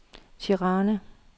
Tirana